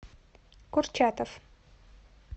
курчатов